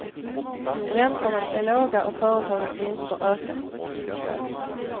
Räntorna är låga och företagens vinster ökar.